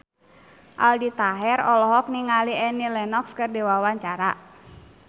Aldi Taher olohok ningali Annie Lenox keur diwawancara